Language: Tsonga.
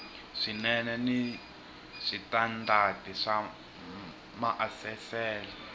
swinene ni switandati swa maasesele